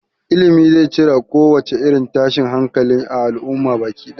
Ilimi zai cire kowace irin tashin hankali a al'umma baki ɗaya